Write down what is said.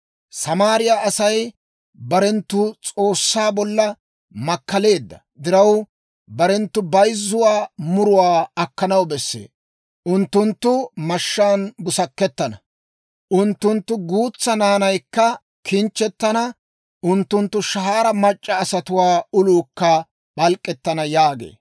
Samaariyaa Asay barenttu S'oossaa bolla makkaleedda diraw, barenttu bayzzuwaa muraa akkanaw besse. Unttunttu mashshaan busakettana; unttunttu guutsaa naanaykka kinchchettana; unttunttu shahaara mac'c'a asatuwaa uluukka p'alk'k'ettana» yaagee.